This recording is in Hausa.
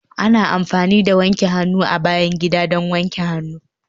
Ana amfani da wanke hannu a bayan gida don wanke hannu